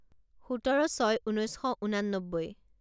সোতৰ ছয় ঊনৈছ শ ঊনান্নব্বৈ